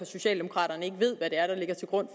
socialdemokraterne ikke ved hvad det er der ligger til grund